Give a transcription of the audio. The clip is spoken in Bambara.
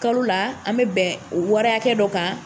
Kalo la an bɛ bɛn wari hakɛ dɔ kan.